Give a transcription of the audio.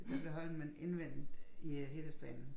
Der blev Holmen indvendet i øh helhedsplanen